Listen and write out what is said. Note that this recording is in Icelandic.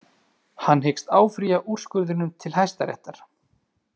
Hann hyggst áfrýja úrskurðinum til hæstaréttar